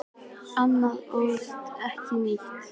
Andri Ólafsson: Nýleg?